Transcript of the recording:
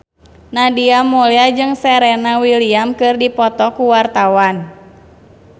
Nadia Mulya jeung Serena Williams keur dipoto ku wartawan